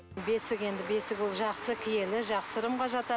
бесік енді бесік ол жақсы киелі жақсы ырымға жатады